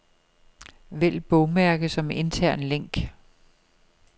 Vælg bogmærke som intern link.